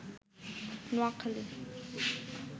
Noakhali